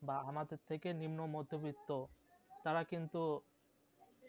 বা আমাদের থেকে নিম্ন মধ্যবিত্ত তারা কিন্তু